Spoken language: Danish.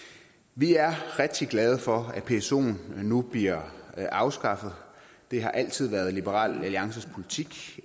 vi er rigtig glade for at psoen nu bliver afskaffet det har altid været liberal alliances politik